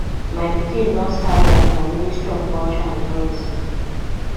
my pikin don start work for ministry of culture and tourism